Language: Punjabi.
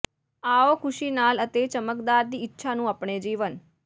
ਆਓ ਖ਼ੁਸ਼ੀ ਨਾਲ ਅਤੇ ਚਮਕਦਾਰ ਦੀ ਇੱਛਾ ਨੂੰ ਆਪਣੇ ਜੀਵਨ